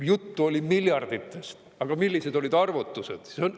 Juttu oli miljarditest, aga millised olid arvutused?